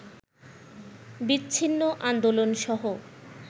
বিচ্ছিন্ন আন্দোলনসহ